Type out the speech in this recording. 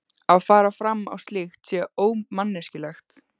Að fara fram á slíkt sé ómanneskjulegt.